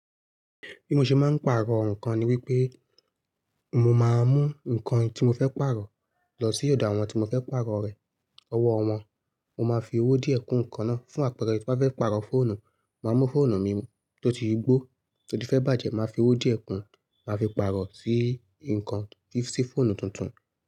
Bí mo ṣe máa ń pàrọ̀ nǹkan ni wípé mo máa mú nǹkan tí mo fẹ́ pàrọ̀ lọ sí ọ̀dọ̀ àwọn tí mo fẹ́ pàrọ̀ rẹ̀. Ọwọ́ wọn mo máa fi owó díẹ̀ kun ǹkan náà. Fún àpẹẹrẹ, ti mo ba fẹ́ pàrọ̀ fóònù, màá mú fóònù mi tó ti gbó tó ti fẹ́ bàjẹ́, màá fi owó díẹ̀ kun, màá fi pàrọ̀ sí nǹkan, sì fóònù tuntun.